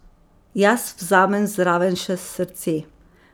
Jaz vzamem zraven še srce.